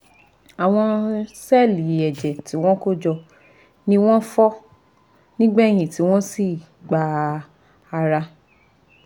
Àwọn sẹ́ẹ̀lì ẹ̀jẹ̀ tí wọ́n kó jọ ni wọ́n fọ́ nígbẹ̀yìn tí wọ́n sì gba ara